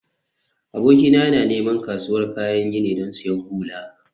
abokina yana neman kasuwar kayan gini don siyan hula